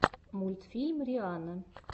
мультфильм рианна